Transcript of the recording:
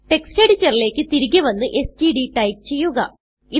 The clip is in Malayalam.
ടെക്സ്റ്റ് എഡിറ്ററിലേക്ക് തിരികെ വന്ന് എസ്ടിഡി ടൈപ്പ് ചെയ്യുക